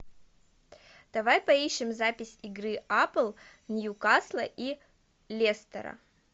давай поищем запись игры апл ньюкасла и лестера